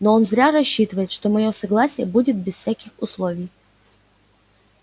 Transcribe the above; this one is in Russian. но он зря рассчитывает что моё согласие будет без всяких условий